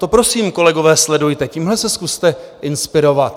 To prosím, kolegové, sledujte, tímhle se zkuste inspirovat.